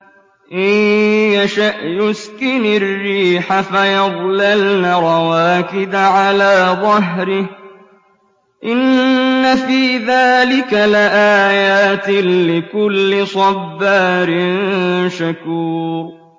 إِن يَشَأْ يُسْكِنِ الرِّيحَ فَيَظْلَلْنَ رَوَاكِدَ عَلَىٰ ظَهْرِهِ ۚ إِنَّ فِي ذَٰلِكَ لَآيَاتٍ لِّكُلِّ صَبَّارٍ شَكُورٍ